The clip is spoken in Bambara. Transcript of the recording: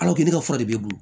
ka fura de b'i bolo